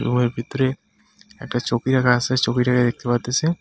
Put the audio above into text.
রুমের ভিতরে একটা ছবি আঁকা আছে ছবিটাকে দেখতে পারতেসি.